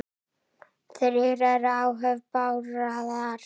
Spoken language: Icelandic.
Þrír eru í áhöfn Bárðar.